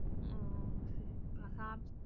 ஓ, சரி